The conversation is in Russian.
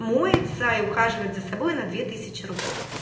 моется и ухаживает за собой на две тысячи рублей